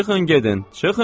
Çıxın gedin!